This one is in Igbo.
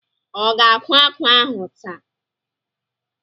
Ọ ga-akwá ákwà ahụ taa?